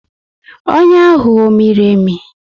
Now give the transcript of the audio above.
Ọnyá ahụ ọ miri emi?